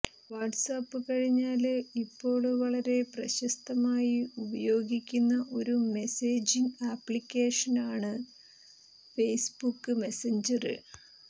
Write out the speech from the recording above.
WhatsApp കഴിഞ്ഞാല് ഇപ്പോള് വളരെ പ്രശസ്ഥമായി ഉപയോഗിക്കുന്ന ഒരു മെസേജിംഗ് അപ്ലിക്കേഷനാണ് ഫേസ്ബുക്ക് മെസഞ്ചര്